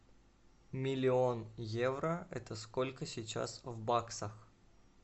миллион евро это сколько сейчас в баксах